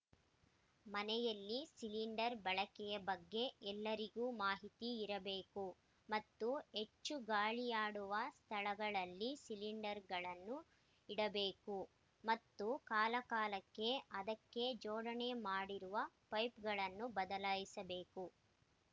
ಮನೆಯಲ್ಲಿ ಸಿಲಿಂಡರ್ ಬಳಕೆಯ ಬಗ್ಗೆ ಎಲ್ಲರಿಗೂ ಮಾಹಿತಿ ಇರಬೇಕು ಮತ್ತು ಹೆಚ್ಚು ಗಾಳಿಯಾಡುವ ಸ್ಥಳಗಳಲ್ಲಿ ಸಿಲಿಂಡರ್‍ಗಳನ್ನು ಇಡಬೇಕು ಮತ್ತು ಕಾಲಕಾಲಕ್ಕೆ ಅದಕ್ಕೆ ಜೋಡಣೆ ಮಾಡಿರುವ ಪೈಪ್‍ಗಳನ್ನು ಬದಲಾಯಿಸಬೇಕು